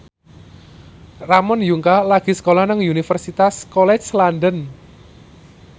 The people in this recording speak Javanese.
Ramon Yungka lagi sekolah nang Universitas College London